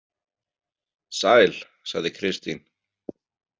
Sæl, sagði Kristín.